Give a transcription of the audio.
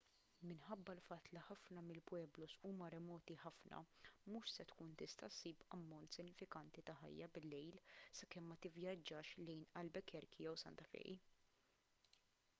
minħabba l-fatt li ħafna mill-pueblos huma remoti ħafna mhux se tkun tista' ssib ammont sinifikanti ta' ħajja bil-lejl sakemm ma tivvjaġġax lejn albuquerque jew santa fe